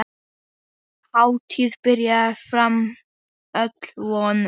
Hátíðin byrjaði framar öllum vonum.